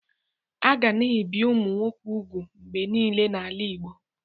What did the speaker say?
A ga na-ebi ụmụ nwoke úgwù mgbe niile n'ala Igbo.